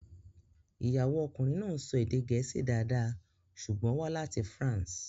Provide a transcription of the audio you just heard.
Ìyàwó ọkùnrin náà ń sọ èdè Gẹ̀ẹ́sì dáadáa ṣùgbọ́n ó wá láti France.